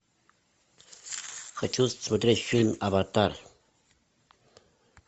хочу смотреть фильм аватар